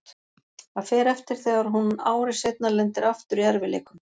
Það fer eftir þegar hún ári seinna lendir aftur í erfiðleikum.